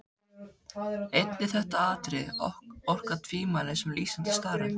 Einnig þetta atriði orkar tvímælis sem lýsandi staðreynd.